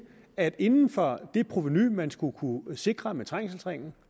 at inden for det provenu man skulle kunne sikre med trængselsringen